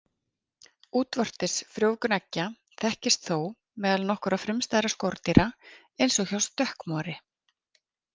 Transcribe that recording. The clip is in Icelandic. Útvortis frjóvgun eggja þekkist þó meðal nokkurra frumstæðra skordýra eins og hjá stökkmori.